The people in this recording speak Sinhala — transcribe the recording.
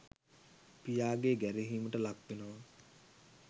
පියාගේ ගැරහීමට ලක්වෙනවා.